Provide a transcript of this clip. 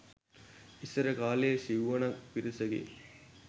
ඉස්සර කාලේ සිව්වනක් පිරිසගේ